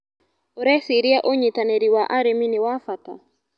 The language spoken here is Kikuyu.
ũreciria ũnyitanĩrĩ wa arĩmi nĩ wa bata.